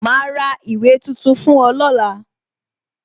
Ma ra ìwé tuntun fún ọ lọ́la